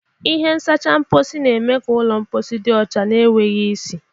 Ihe nsacha mposi na-eme ka ụlọ mposi dị ọcha na enweghị isi.